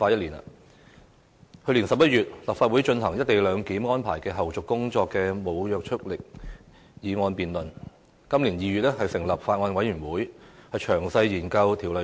立法會在去年11月就"一地兩檢"安排的後續工作進行無約束力的議案辯論，今年2月成立《廣深港高鐵條例草案》委員會，詳細研究《條例草案》。